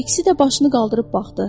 İkisi də başını qaldırıb baxdı.